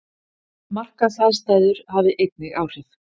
Markaðsaðstæður hafi einnig áhrif